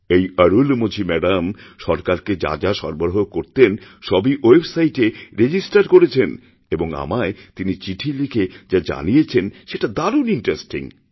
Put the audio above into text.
এই অরুলমোঝি ম্যাডাম সরকারকেযা যা সরবরাহ করতেন সবই ওয়েবসাইটএ রেজিস্টার করেছেন এবং আমায় তিনি চিঠি লিখে যাজানিয়েছেন সেটা দারুণ ইণ্টারেস্টিং